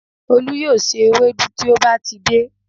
Olú yóò se ewédú tí ó bá ti dé